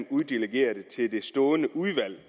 uddelegere det til det stående udvalg